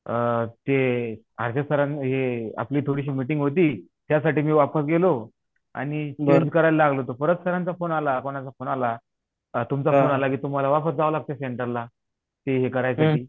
अ अजय सरानी आपली थोडीशी मीटिंग होती त्यासाठी मी वापस गेलो आणि मग करायला लागलो परत सरांचा फोन आलाकोणाचा तुमचा फोन आला कि तुम्हाला वापस जावं लागत सेण्टरला ते हे करायचं ते